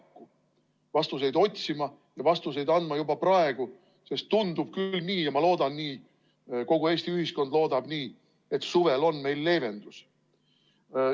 Me peame vastuseid otsima ja vastuseid andma juba praegu, sest tundub küll nii ja ma loodan, et kogu Eesti ühiskond loodab, et suvel tuleb leevendus.